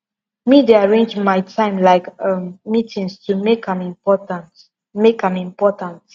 me dey arrange my time like um meetings to make am important make am important